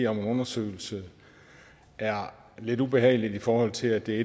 om en undersøgelse er lidt ubehageligt i forhold til at det er